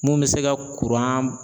Mun bɛ se ka